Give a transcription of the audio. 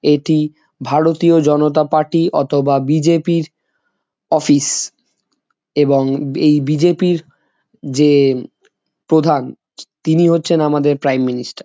এটি ভারতীয় জনতা পার্টি অথবা বি.জে.পি. -এর অফিস । এবং এই বি.জে.পি. । -এর যে প্রধান তিনি হচ্ছেন আমাদের প্রাইম মিনিস্টার ।